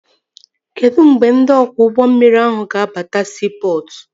Kedụ mgbe ndị ọkwọ ụgbọ mmiri ahụ ga-abata siipọtụ?